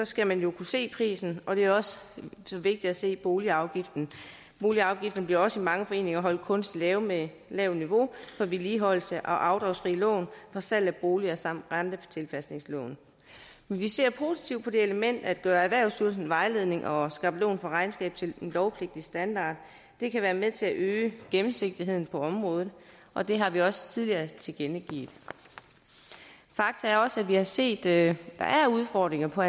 skal man jo kunne se prisen og det er også vigtigt at se boligafgiften boligafgiften bliver også i mange foreninger holdt kunstigt lav med lavt niveau for vedligeholdelse og afdragsfrie lån for salg af boliger samt rentetilpasningslån men vi ser positivt på det element at gøre erhvervsstyrelsens vejledning og skabelon for regnskab til en lovpligtig standard og det kan være med til at øge gennemsigtigheden på området og det har vi også tidligere tilkendegivet fakta er også at vi har set at der er udfordringer på